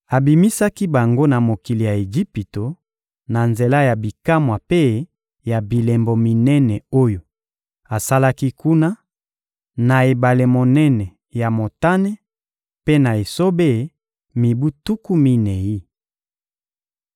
Abimisaki bango na mokili ya Ejipito, na nzela ya bikamwa mpe ya bilembo minene oyo asalaki kuna, na ebale monene ya Motane mpe na esobe, mibu tuku minei.